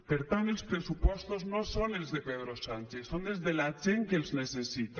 per tant els pressupostos no són els de pedro sánchez són els de la gent que els necessita